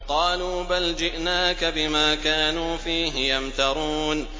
قَالُوا بَلْ جِئْنَاكَ بِمَا كَانُوا فِيهِ يَمْتَرُونَ